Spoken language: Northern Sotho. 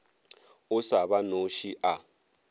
o sa ba noše a